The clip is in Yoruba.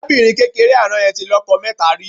Arábìnrin kékeré àná yẹn tí lọ́jọ mẹ́ta rí.